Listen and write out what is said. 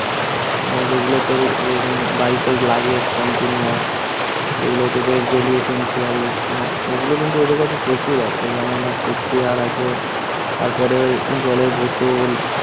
মানে যেগুলো প্রতিদিন বাড়িতে লাগে continuous যেগুলো daily essential হম ওগুলো কিন্তু ওদের কাছে প্রচুর আসে। যেমন হচ্ছে চেয়ার আছে, তারপরে জলের বোতল